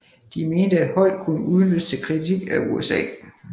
De mente at Holdt kunne udnyttes til kritik af USA